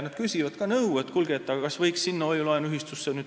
Nad küsivad nõu, kas võiks oma raha panna mingisse hoiu-laenuühistusse.